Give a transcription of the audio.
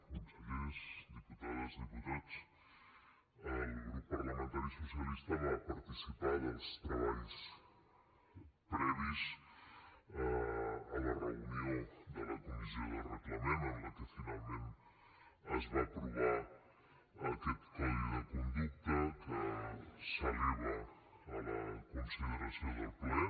consellers diputades diputats el grup parlamentari socialista va participar dels treballs previs a la reunió de la comissió de reglament en què finalment es va aprovar aquest codi de conducta que s’eleva a la consideració del ple